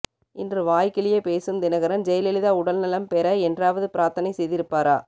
இன்று வாய் கிழிய பேசும் தினகரன் ஜெயலலிதா உடல்நலம் பெற என்றாவது பிரார்த்தனை செய்திருப்பாரா